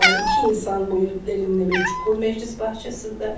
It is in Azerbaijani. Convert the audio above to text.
Yəni iki insan boyunda bir çukur məclis bağçasında.